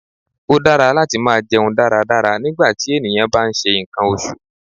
Ó dára láti máa jẹun dáradára nígbàtí ènìyàn bá ń ṣe nǹkan oṣù.